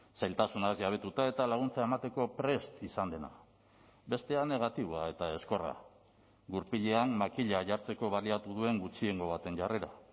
zailtasunaz jabetuta eta laguntza emateko prest izan dena bestea negatiboa eta ezkorra gurpilean makila jartzeko baliatu duen gutxiengo baten jarrera